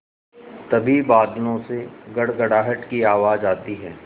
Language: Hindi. तभी बादलों से गड़गड़ाहट की आवाज़ आती है